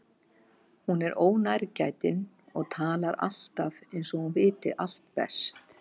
Hún er ónærgætin og talar alltaf eins og hún viti allt best.